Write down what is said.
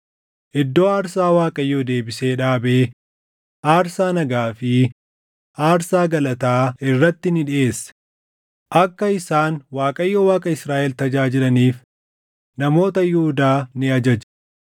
Iddoo aarsaa Waaqayyoo deebisee dhaabee aarsaa nagaa fi aarsaa galataa irratti ni dhiʼeesse; akka isaan Waaqayyo Waaqa Israaʼel tajaajilaniif namoota Yihuudaa ni ajaje.